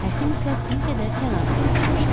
Həkim isə bir qədər kənarda əyləşmişdi.